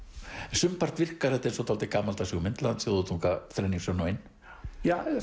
sumpart virkar þetta eins og dálítið gamaldags hugmynd Land þjóð og tunga þrenning sönn og ein ja